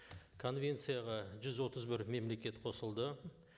конвенцияға жүз отыз бір мемлекет қосылды